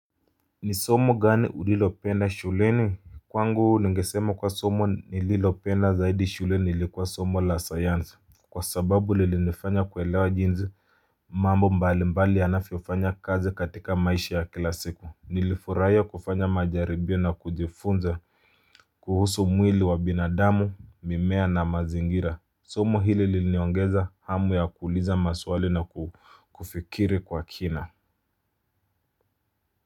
Ni somo gani ulilopenda shuleni. Kwangu ningesema kuwa somo nililopenda zaidi shuleni ilikuwa somo la sayanzi. Kwa sababu lilinifanya kuelewa jinzi mambo mbali mbali yanafyofanya kazi katika maishi ya kila siku. Nilifuraia kufanya majaribio na kujifunza kuhusu mwili wa binadamu mimea na mazingira. Somo hili lili niongeza hamu ya kuuliza maswali na kufikiri kwa kina.